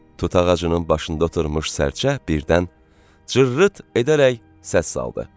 Tut ağacının başında oturmuş sərçə birdən cırrıt edərək səs saldı.